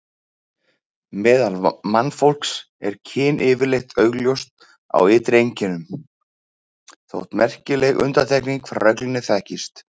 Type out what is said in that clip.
Meðal mannfólks er kyn yfirleitt augljóst á ytri einkennum, þótt merkilegar undantekningar frá reglunni þekkist.